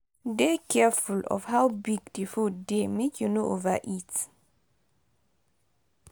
for your health try avoid food wey dem don process or over process